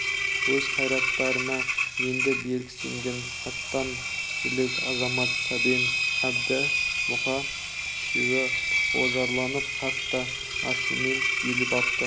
өз қайраттарына енді берік сенген атан жілік азамат сәмен әбді мұқа үшеуі ожарланып қатты ашумен түйіліп апты